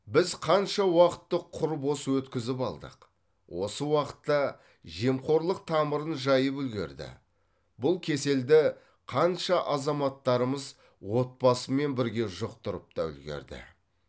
біз қанша уақытты құр бос өткізіп алдық осы уақытта жемқорлық тамырын жайып үлгерді бұл кеселді қанша азаматтарымыз отбасымен бірге жұқтырып та үлгерді